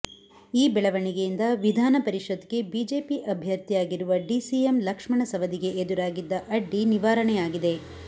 ಈ ಬೆಳವಣಿಗೆಯಿಂದ ವಿಧಾನ ಪರಿಷತ್ ಗೆ ಬಿಜೆಪಿ ಅಭ್ಯರ್ಥಿಯಾಗಿರುವ ಡಿಸಿಎಂ ಲಕ್ಷ್ಮಣ ಸವದಿಗೆ ಎದುರಾಗಿದ್ದ ಅಡ್ಡಿ ನಿವಾರಣೆಯಾಗಿದೆ